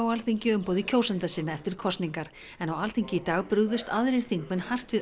á Alþingi í umboði kjósenda sinna eftir kosningar en á Alþingi í dag brugðust aðrir þingmenn hart við